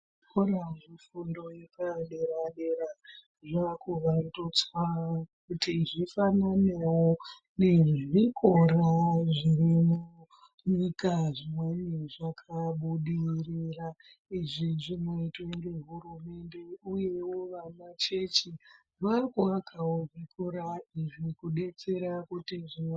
Zvikora zvefundo yepadera dera zvakuvandudzwa kuti zvifananewo nezvikora zviri munyika zvinenge zvakabudirira izvi zvinoitwa ngehurumende uyewo vamachechi vakuvakawo zvikora iizvi kubetsera kuti zviwande.